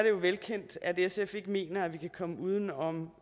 jo velkendt at sf ikke mener at vi kan komme uden om